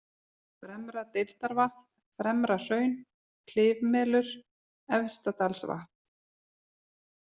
Fremra-Deildarvatn, Fremrahraun, Klifmelur, Efstadalsvatn